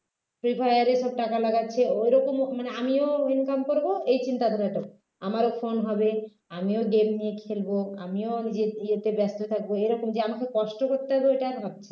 . টাকা লাগাচ্ছে ওরকম মানে আমিও income করব এই চিন্তাধারাটা ওর নেই আমারও phone হবে আমিও game নিয়ে খেলব আমিও নিজের ইয়েতে ব্যস্ত থাকব এরকম যে আমাকে কষ্ট করতে হবে এটা ভাবছেননা